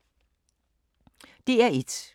DR1